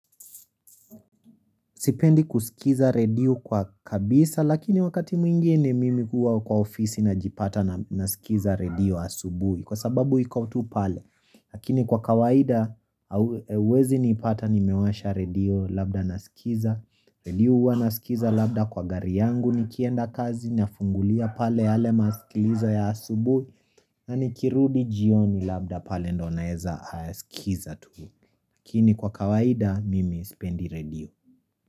Sipendi kusikiza redio kwa kabisa lakini wakati mwingine mimi huwa kwa ofisi najipata nasikiza redio asubuhi kwa sababu iko tu pale. Lakini kwa kawaida hauwezi nipata nimewasha redio labda nasikiza redio huwa nasikiza labda kwa gari yangu nikienda kazi nafungulia pale yale masikilizo ya asubuhi na nikirudi jioni labda pale ndio naeza sikiza tu Lakini kwa kawaida mimi sipendi redio.